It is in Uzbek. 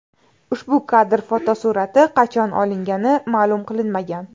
Ushbu kadr fotosurati qachon olingani ma’lum qilinmagan.